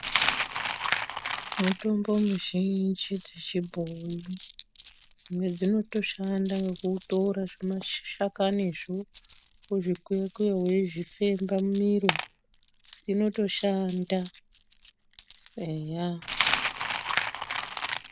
Mitombo mizhinji dzechibhoyi dzimwe dzinotoshanda nekutora zvimashakanizvo wozvikuya kuya wofemba mumiro dzinotoshanda eya.